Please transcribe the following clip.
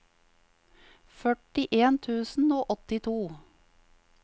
førtien tusen og åttito